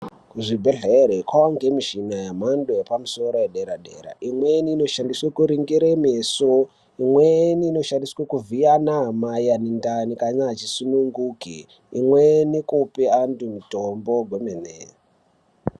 Kuchibhedhlere kwavanikwa michina yemhando yepamusoro yedera-dera. Imweni inoshandiswa kuringire meso, imweni inoshandiswa kuvhiya anamai ane ndani kana achisununguke. Imweni kupe antu mitombo hwemene.